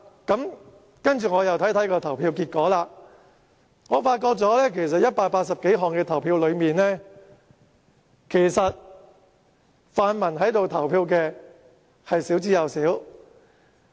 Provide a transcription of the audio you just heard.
後來我看看投票結果，發現在表決180多項修正案時，留在會議廳投票的泛民同事少之又少。